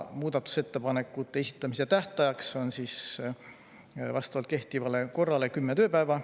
Muudatusettepanekute esitamise tähtajaks on vastavalt kehtivale korrale kümme tööpäeva.